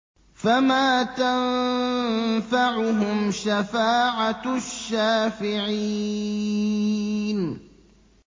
فَمَا تَنفَعُهُمْ شَفَاعَةُ الشَّافِعِينَ